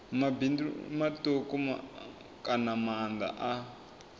mabindu matuku kana maanda a